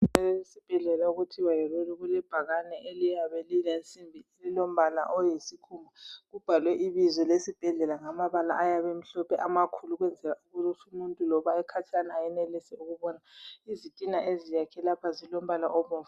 Esibhedlela okuthiwa yiRuli, kulebhakane eliyabe lilensimbi, lilombala oyisikhumba. Kubhalwe ibizo le sibhedlela ngamabala ayabe emhlophe amakhulu ukwenzela ukuthi umuntu loba ekhatshana ayenelise ukubona. Izitina eziyakhe lapha zilombala obomvu.